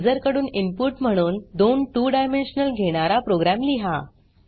user कडून input म्हणून दोन 2डायमेन्शनल घेणारा प्रोग्राम लिहा